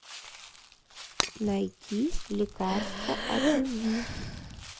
найти лекарство от любви